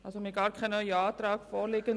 Wir haben gar keinen neuen Antrag vorliegend.